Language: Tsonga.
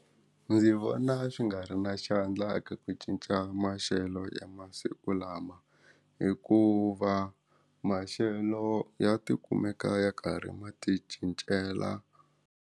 Ndzi vona swi nga ri na xandla eka ku cinca maxelo ya masiku lama hikuva maxelo ya tikumeka ya karhi mati cincela.